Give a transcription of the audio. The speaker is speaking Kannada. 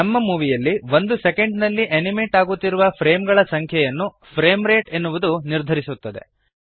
ನಮ್ಮ ಮೂವೀಯಲ್ಲಿ ಒಂದು ಸೆಕೆಂಡ್ ನಲ್ಲಿ ಅನಿಮೇಟ್ ಆಗುತ್ತಿರುವ ಫ್ರೇಮ್ ಗಳ ಸಂಖ್ಯೆಯನ್ನು ಫ್ರೇಮ್ ರೇಟ್ ಎನ್ನುವುದು ನಿರ್ಧರಿಸುತ್ತದೆ